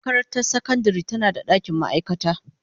Makarantar sakandare tana da dakin ma'aikata.